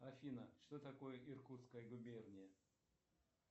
афина что такое иркутская губерния